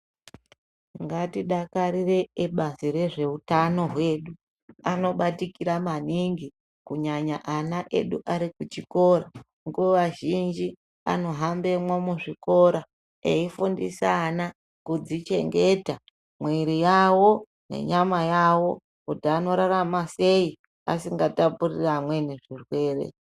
Ngatidakarire ebazi rezveutano hwedu. Anobatikira maningi kunyanya ana edu ari kuchikora. Nguwa zhinji anohambemwo mwuzvikora eyifundisa ana kudzichengeta mwiri yawo nenyama yawo kuti anorarama sei asingatapuriri amweni zvirwere.